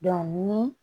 ni